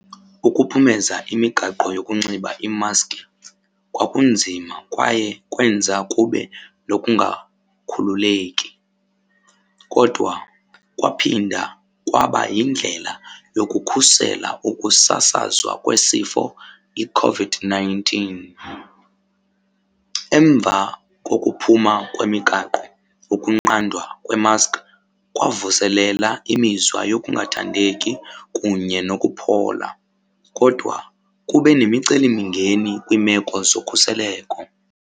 Ukuphumeza imigaqo yokunxiba iimaski kwakunzima kwaye kwenza kube nokungakhululeki kodwa kwaphinda kwaba yindlela yokukhusela ukusasazwa kwesifo iCOVID-nineteen. Emva kokuphuma kwemigaqo ukunqandwa kwemaski kwavuselela imizwa yokungathandeki kunye nokuphola kodwa kube nemicelimingeni kwiimeko zokhuseleko.